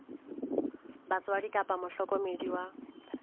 wa batswadi kapa mohlokomedi wa